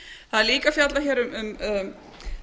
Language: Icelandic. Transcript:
það er líka fjallað hér um